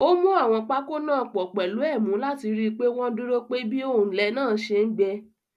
Ó mú àwọn pákó náà pọ̀ pẹ̀lú ẹ̀mú láti rí pé wọ́n dúró pe bí òǹlẹ̀ náà ṣe ń gbẹ.